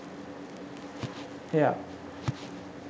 hair